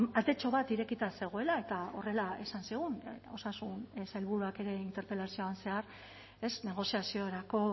atetxo bat irekita zegoela eta horrela esan zigun osasun sailburuak ere interpelazioan zehar ez negoziaziorako